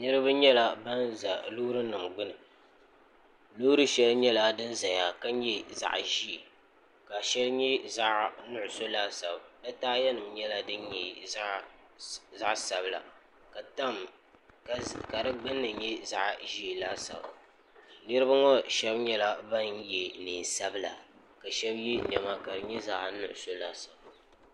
niraba nyɛla bin ʒɛ loori nim gbuni loori shɛli nyɛla din ʒɛya ka nyɛ zaɣ ʒiɛ ka shɛli nyɛ zaɣ nuɣso laasabu di taaya nim nyɛla din nyɛ zaɣ sabila ka di gbunni nyɛ din nyɛ zaɣ ʒiɛ laasabu niraba ŋo shab nyɛla ban yɛ neen sabila ka shab yɛ niɛma ka di nyɛ zaɣ nuɣso laasabu